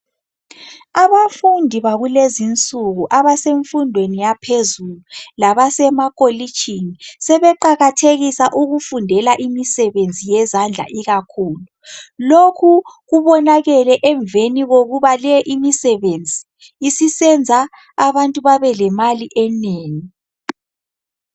Abafundi bakulezi nsuku abasemfundweni yaphezulu labasemakolitshini sebeqakathekisa ukufundela imisebenzi yezandla ikakhulu. Lokhu kubonakele emveni kokuba le imisebenzi isisenza abantu babe lemali enengi.